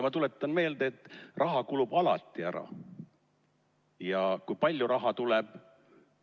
Ma tuletan meelde, et raha kulub alati ära, ja kui palju raha tuleb.